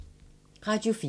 Radio 4